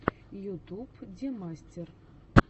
ютуб демастер